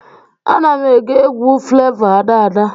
Ana m ege egwu Flevọ Ada Ada